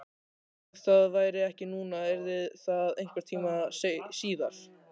Ef það væri ekki núna yrði það einhvern tíma síðar.